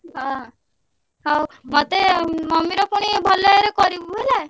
ହଁ ହଉ ମତେ mummy ର ପୁଣି ଭଲ ବାଗରେ କରିବୁ ହେଲା।